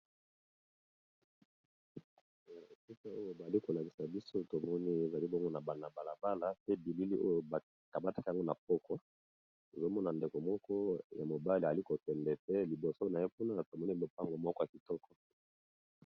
Esika oyo bali kolangisa biso tomoni ezali bomo na bana-balabala pe bilili oyo bakamataka yango na pokwa ozomona ndeko moko ya mobali ali kokende pe liboso na ye puna tomoni mopango moko ya kitoko.